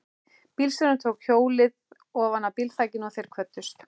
Bílstjórinn tók hjólið ofanaf bílþakinu og þeir kvöddust.